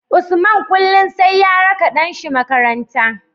Usman kullun sai ya raka ɗan shi makaranta